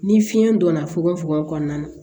Ni fiɲɛ donna fukonfukon kɔnɔna na